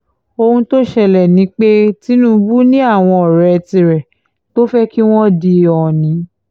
ohun tó ṣẹlẹ̀ ni pé tinubu ni àwọn ọ̀rẹ́ tirẹ̀ tó fẹ́ kí wọ́n di òónì